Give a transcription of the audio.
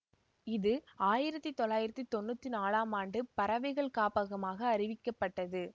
இது ஆயிரத்தி தொள்ளாயிரத்தி தொன்னூற்தி நாலாம் ஆண்டு பறவைகள் காப்பகமாக அறிவிக்கப்பட்டது